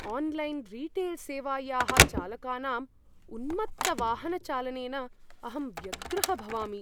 Online रीटेल्सेवायाः चालकानाम् उन्मत्तवाहनचालनेन अहं व्यग्रः भवामि।